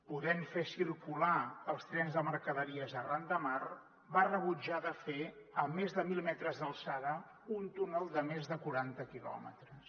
podent fer circular els trens de mercaderies arran de mar va rebutjar de fer més de mil metres d’alçada un túnel de més de quaranta quilòmetres